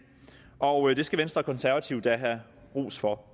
og det skal venstre og konservative da have ros for